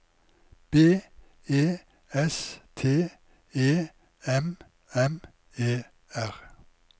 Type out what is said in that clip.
B E S T E M M E R